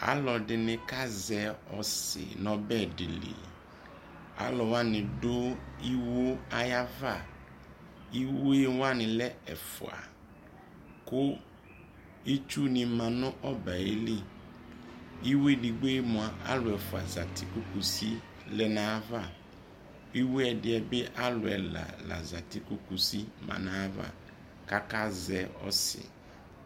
alʋɛdini kazɛ ɔssi nʋɔbɛ dili, alʋwani dʋ iwɔ ayava, iwɔɛ wani lɛ ɛƒʋa kʋ itsʋ ni manʋ ɔbɛli, iwɔɛ ɛdigbɔɛ mʋa alʋ ɛƒʋa zati kʋ kʋsi lɛnʋ ayiava, iwɔɛ ɛdiɛ bi alʋɛ ɛla la zati kʋkʋsi manʋ ayava kʋ aka zɛ ɔssi